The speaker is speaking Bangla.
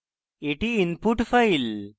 এটি input file